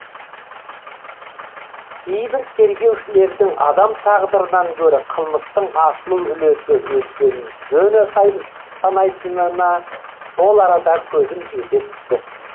кейбір тергеушілердің адам тағдырынан гөрі қылмыстың ашылу үлесі өскенін жөн санайтынына сол арада көзім жете түсті